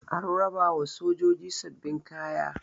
an rabawa sojoji sababbin kaya